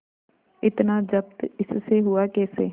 इतना जब्त इससे हुआ कैसे